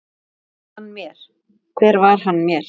Hver var hann mér?